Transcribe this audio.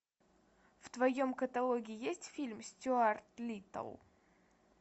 в твоем каталоге есть фильм стюарт литтл